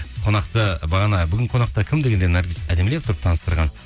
қонақты бағана бүгін қонақта кім дегенде наргиз әдемілеп тұрып таныстырған